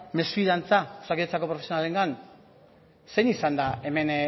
mesfidantza osakidetzako profesionalengan zein izan da hemen